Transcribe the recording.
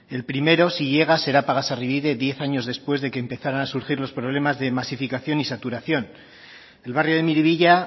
el primero si llega será pagasarribide diez años después de que empezaran a surgir los problemas de masificación y saturación el barrio de miribilla